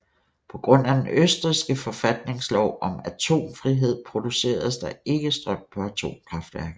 På grund af den østrigske forfatningslov om atomfrihed produceres der ikke strøm på atomkraftværker